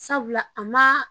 Sabula a maa